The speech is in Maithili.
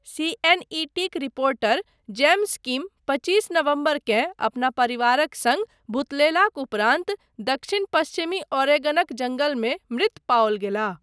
सीएनईटीक रिपोर्टर जेम्स किम पचीस नवम्बरकेँ अपना परिवारक सङ्ग भुतलयलाक उपरान्त दक्षिण पश्चिमी ओरेगनक जङ्गलमे मृत पाओल गेलाह।